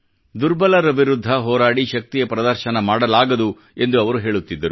ದುರ್ಬಲರ ವಿರುದ್ಧ ಹೋರಾಡಿ ಶಕ್ತಿಯ ಪ್ರದರ್ಶನ ಮಾಡಲಾಗದು ಎಂದು ಅವರು ಹೇಳುತ್ತಿದ್ದರು